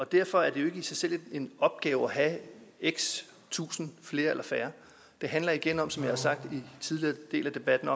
derfor er det jo ikke i sig selv en opgave at have x tusinde flere eller færre det handler igen om som jeg har sagt tidligere i debatten